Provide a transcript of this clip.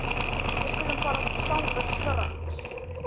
Við skulum fara þangað strax